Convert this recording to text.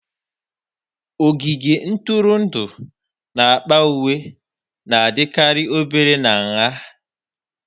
Ogige ntụrụndụ n'akpa uwe na-adịkarị obere na nha